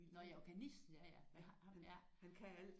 Nåh ja organist ja ja ham ja